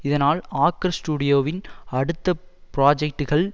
இதனால் ஆக்கர் ஸ்டுடியோவின் அடுத்த புராஜெக்டுகள்